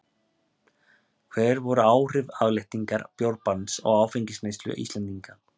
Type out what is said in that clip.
Hver voru áhrif afléttingar bjórbanns á áfengisneyslu Íslendinga?